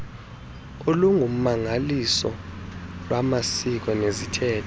nolungummangaliso lwamasiko neziithethe